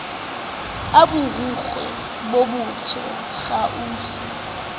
a borikgwe bo botsho kausu